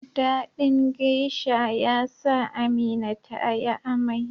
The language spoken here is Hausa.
dadin geasha yasa Amina tayi amai